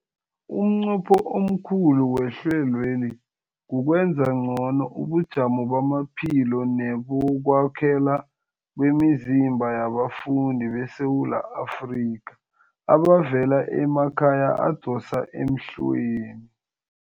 Umnqopho omkhulu wehlelweli kukwenza ngcono ubujamo bamaphilo nebokwakhela kwemizimba yabafundi beSewula Afrika abavela emakhaya adosa emhlweni.